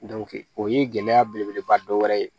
o ye gɛlɛya belebeleba dɔ wɛrɛ ye